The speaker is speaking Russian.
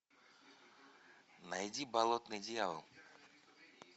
найди болотный дьявол